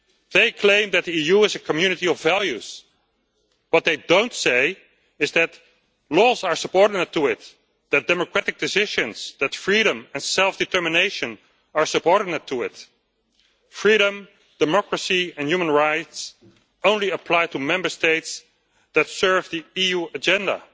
They claim that the EU is a community of values. What they do not say is that laws are subordinate to it, that democratic decisions, freedom and self determination are subordinate to it. Freedom, democracy and human rights apply only to Member States that serve the EU agenda.